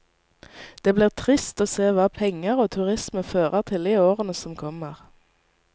Det blir trist å se hva penger og turisme fører til i årene som kommer.